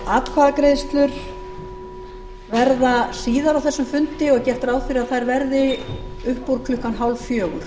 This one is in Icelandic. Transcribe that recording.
atkvæðagreiðslur verða síðar á þessum fundi og gert ráð fyrir að þær verði upp úr klukkan hálffjögur